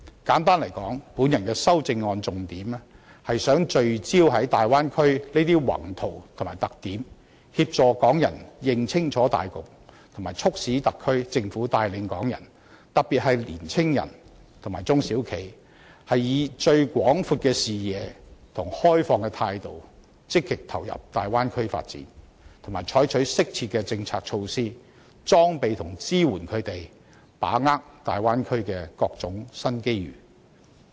簡單而言，我的修正案重點是希望聚焦於大灣區的宏圖及特點，協助港人認清大局，並促使特區政府帶領港人，特別是年青人和中小型企業，以最廣闊的視野和開放的態度，積極投入大灣區發展，以及採取適切的政策措施裝備和支援他們，使他們能把握大灣區的各種新機遇。